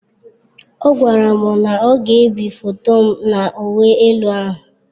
Ọ gwara m na ọ ga-ebi foto m na uwe elu ahụ.